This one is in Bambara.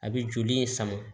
A bɛ joli in sama